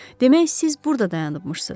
Demək siz burda dayanıbmışsız.